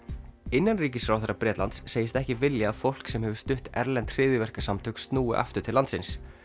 innanríkisráðherra Bretlands segist ekki vilja að fólk sem hefur stutt erlend hryðjuverkasamtök snúi aftur til landsins